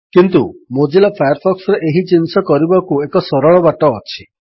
କିନ୍ତୁ ମୋଜିଲା ଫାୟାରଫକ୍ସରେ ଏହି ଜିନିଷ କରିବାକୁ ଏକ ସରଳ ବାଟ ଅଛି